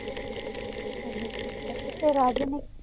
ਹਾਂਜੀ ਠੀਕ ਆਯ ਫੇਰ ਰਾਜੇ ਨੇ